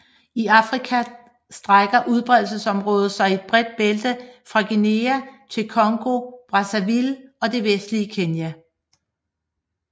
I Afrika strækker udbredelsesområdet sig i et bredt bælte fra Guinea til Congo Brazzaville og det vestlige Kenya